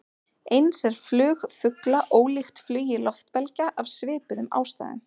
Eins er flug fugla ólíkt flugi loftbelgja, af svipuðum ástæðum.